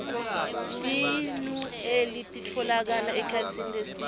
tinoueli titfolokala ekhasini lesine